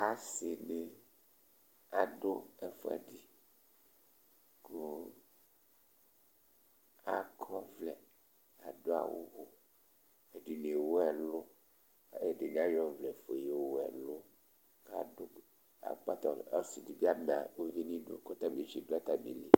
Asi ni adu ɛfʋɛdi kʋ akɔ ɔvlɛ, adu awu Ɛdiní ewu ɛlu Ɛdiní ayɔ ɔvlɛ yowu ɛlu Ɔsi di bi ama ʋvi nʋ idu kʋ ɔtabi tidu atamìli